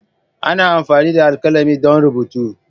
Ana amfani da alkalami don rubutu.